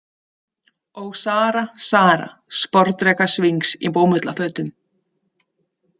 Ó, Sara, Sara, sporðdrekasvings í bómullarfötum.